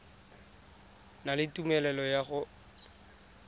na le tumelelo ya go